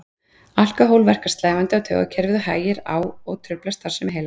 Alkóhól verkar slævandi á taugakerfið og hægir á og truflar starfsemi heila.